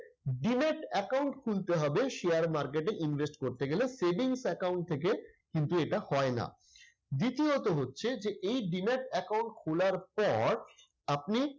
demat account খুলতে হবে share market এ invest করতে গেলে savings account থেকে। কিন্তু এটা হয় না। দ্বিতীয়ত হচ্ছে যে এই demat account খোলার পর আপনি